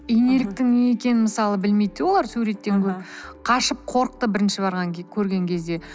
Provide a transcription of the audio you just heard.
инеліктің не екенін мысалы білмейді де олар суреттен көріп қашып қорықты бірінші барған көрген кезде